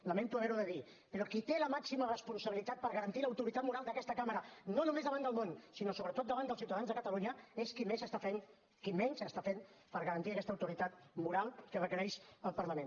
lamento haver ho de dir però qui té la màxima responsabilitat per garantir l’autoritat moral d’aquesta cambra no només davant del món sinó sobretot davant dels ciutadans de catalunya és qui menys està fent per garantir aquesta autoritat moral que requereix el parlament